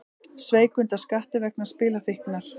Sveik undan skatti vegna spilafíknar